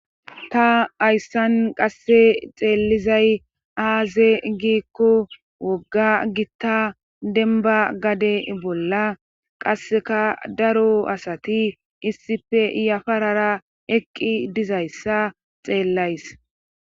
Ta hayssan qasse xeellizay aaze giikko wogga gitta denba gade bolla qasseka daro asati issife yafarara eqqi dizayssa xeellays